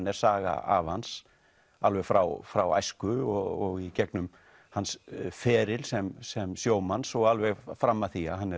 er saga afa hans alveg frá frá æsku og í gegnum hans feril sem sem sjómanns og alveg fram að því að hann